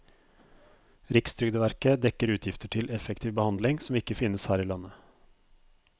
Rikstrygdeverket dekker utgifter til effektiv behandling som ikke finnes her i landet.